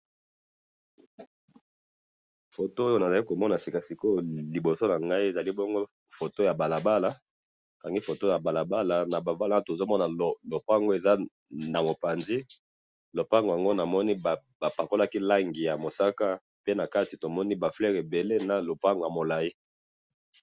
photo oyo nazali komona na sika sikoyo liboso nangai, ezali bongo photo ya balabala, bakangi photo ya balabala, na balabala tozomona lupango eza na mopanzi, lupango yango namoni bapakalaki langi ya mosaka, pe nakati tomoni ba fleurs ebele na lupango ya molayi